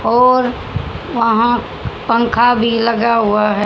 और वहाँ पंखा भी लगा हुवा हैं।